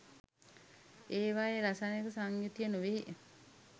ඒවායේ රසායනික සංයුතිය නොවේ.